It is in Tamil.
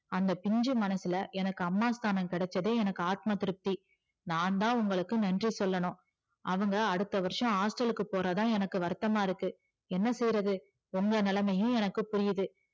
அந்த பிஞ்சு மனசுல எனக்கு அம்மா ஸ்தானம் கிடைச்சதே ஆத்மா திருப்தி நான்தா உங்களுக்கு நன்றி சொல்லணும் அவங்க அடுத்த வருஷம் hostel க்கு போறதுதா எனக்கு வருத்தமா இருக்கு என்ன செய்யறது உங்க நிலைமையும் எனக்கு புரிது